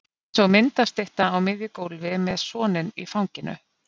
Eins og myndastytta á miðju gólfi með soninn í fanginu.